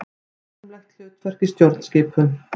Formlegt hlutverk í stjórnskipun.